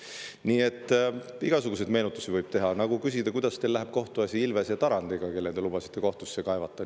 Nii et igasuguseid asju võib meenutada, võib küsida, kuidas läheb teil kohtuasi Ilvese ja Tarandiga, kelle te lubasite kohtusse kaevata.